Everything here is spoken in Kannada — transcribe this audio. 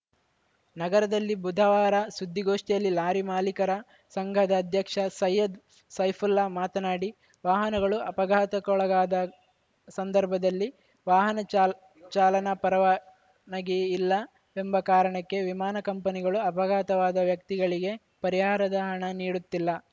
ನಗರದಲ್ಲಿ ಬುಧವಾರ ಸುದ್ದಿಗೋಷ್ಠಿಯಲ್ಲಿ ಲಾರಿ ಮಾಲೀಕರ ಸಂಘದ ಅಧ್ಯಕ್ಷ ಸೈಯದ್‌ ಸೈಫುಲ್ಲಾ ಮಾತನಾಡಿ ವಾಹನಗಳು ಅಪಘಾತಕ್ಕೊಳಗಾದ ಸಂದರ್ಭದಲ್ಲಿ ವಾಹನ ಚಾಲನ್ ಚಾಲನಾ ಪರವಾನಗಿ ಇಲ್ಲವೆಂಬ ಕಾರಣಕ್ಕೆ ವಿಮಾನ ಕಂಪನಿಗಳು ಅಪಘಾತವಾದ ವ್ಯಕ್ತಿಗಳಿಗೆ ಪರಿಹಾರದ ಹಣ ನೀಡುತ್ತಿಲ್ಲ